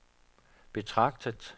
betragtet